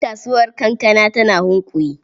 Kasuwar kankana tana Hunkuyi.